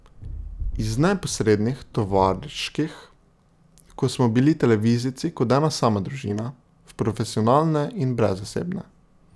Iz neposrednih, tovariških, ko smo bili televizijci kot ena sama družina, v profesionalne in brezosebne.